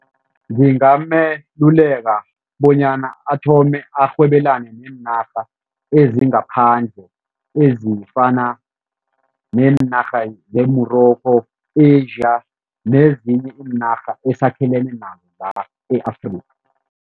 Ngingameluleka bonyana athome arhwebelani neenarha ezingaphandle, ezifana neenarha ne-Morocco, Asia nezinye iinarha esakhelene nazo la e-Afrika.